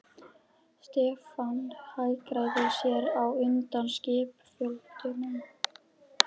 Stefán hagræddi sér á undnum skipsfjölunum.